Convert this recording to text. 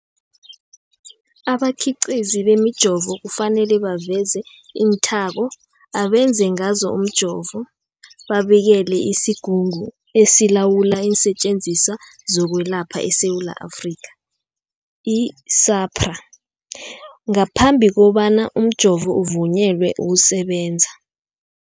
Abakhiqizi bemijovo kufanele baveze iinthako abenze ngazo umjovo, babikele isiGungu esiLawula iinSetjenziswa zokweLapha eSewula Afrika, i-SAHPRA, ngaphambi kobana umjovo uvunyelwe ukusebenza.